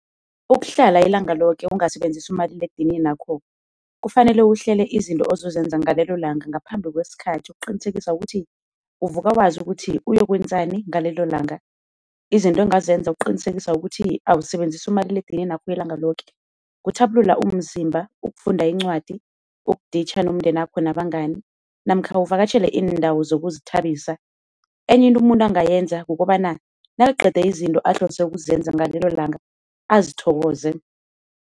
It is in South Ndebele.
Ukuhlala ilanga loke ungasebenzisi umaliledininakho, kufanele uhlele izinto ozosenza ngalelo langa ngaphambi kwesikhathi ukuqinisekisa ukuthi uvuka wazi ukuthi uyokwenzani ngalelo langa, izinto ongazenza ukuqinisekisa ukuthi awusebenzisi umaliledininakho ilanga loke. Kuthabulula umzimba, ukufunda incwadi, ukuditjha nomndenakho nabangani namkha uvakatjhele iindawo zokuzithabisa. Enye into umuntu angayenza kukobana nakaqede izinto ahlose ukuzenza ngalelo langa azithokoze.